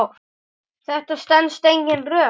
Þetta stenst engin rök.